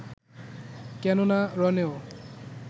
কেন না, রণেও